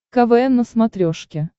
квн на смотрешке